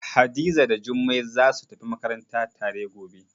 Hadiza da Jummai zasu tafi makaranta tare gobe.